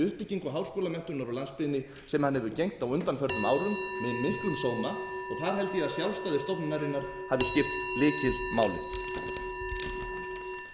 uppbyggingu háskólamenntunar á landsbyggðinni sem hann hefur gegnt á undanförnum árum með miklum sóma og þar held ég að sjálfstæði stofnunarinnar hafi skipt lykilmáli